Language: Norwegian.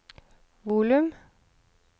volum